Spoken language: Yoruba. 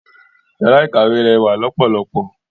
Yàrá ìkàwé rẹwà lọ́pọ̀lọpọ̀.